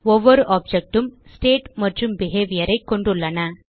ஒவ்வொரு ஆப்ஜெக்ட் உம் ஸ்டேட் மற்றும் behaviorஐ கொண்டுள்ளன